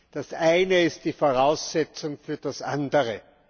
Das Eine ist die Voraussetzung für das Andere.